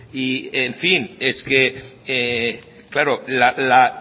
y en fin es que claro la